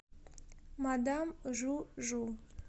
мадам жу жу